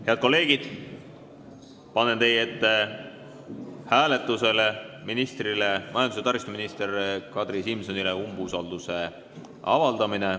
Head kolleegid, panen hääletusele majandus- ja taristuminister Kadri Simsonile umbusalduse avaldamise.